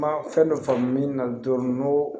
Ma fɛn dɔ faamu min na dɔɔni n'o